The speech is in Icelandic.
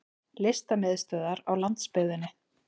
Listamiðstöðvar á landsbyggðinni!